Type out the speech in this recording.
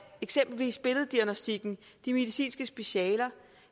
eksempelvis billeddiagnostikken de medicinske specialer